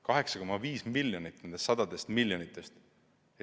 8,5 miljonit nendest sadadest miljonitest.